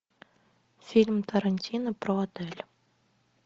фильм тарантино про отель